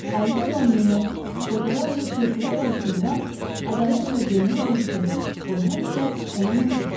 Əldə olan neməti qocalar və körpələr arasında ədalətlə bölmək vəzifəsi qoy həmişə ona nəsib olsun.